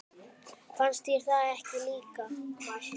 Fannst þér það ekki líka?